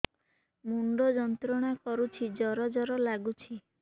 ମୁଣ୍ଡ ଯନ୍ତ୍ରଣା କରୁଛି ଜର ଜର ଲାଗୁଛି